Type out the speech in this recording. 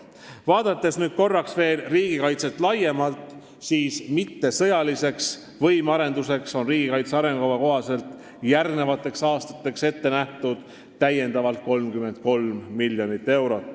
Vaadates nüüd korraks veel riigikaitset laiemalt, on mittesõjalisteks võimearendusteks riigikaitse arengukava kohaselt järgmisteks aastateks ette nähtud veel 33 miljonit eurot.